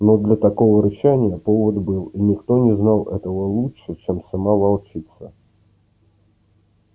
но для такого рычания повод был и никто не знал этого лучше чем сама волчица